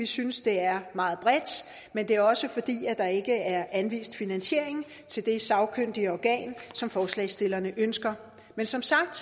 synes det er meget bredt men det er også fordi der ikke er anvist finansiering til det sagkyndige organ som forslagsstillerne ønsker men som sagt